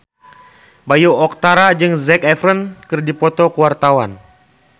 Bayu Octara jeung Zac Efron keur dipoto ku wartawan